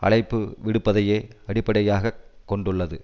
அழைப்புவிடுப்பதையே அடிப்படையாக கொண்டுள்ளது